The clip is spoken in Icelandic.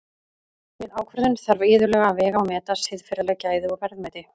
Við ákvörðun þarf iðulega að vega og meta siðferðileg gæði og verðmæti.